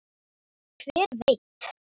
Hver veit